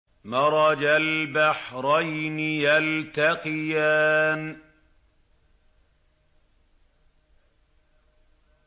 مَرَجَ الْبَحْرَيْنِ يَلْتَقِيَانِ